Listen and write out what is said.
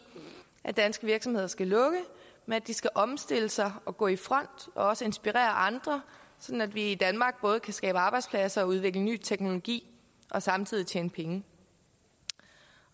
at danske virksomheder skal lukke men at de skal omstille sig og gå i front og også inspirere andre sådan at vi i danmark både kan skabe arbejdspladser og udvikle ny teknologi og samtidig tjene penge